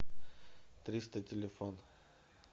триста телефон